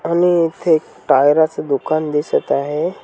आणि इथे एक टायरा च दुकान दिसत आहे.